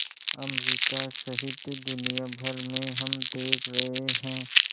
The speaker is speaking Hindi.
अमरिका सहित दुनिया भर में हम देख रहे हैं